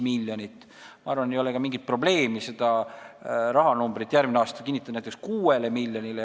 Ma arvan, et ei ole ka mingit probleemi seda rahanumbrit järgmine aasta suurendada, näiteks 6 miljonit kinnitada.